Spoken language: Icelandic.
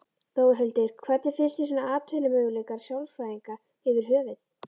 Þórhildur: Hvernig finnst þér svona atvinnumöguleikar sálfræðinga yfir höfuð?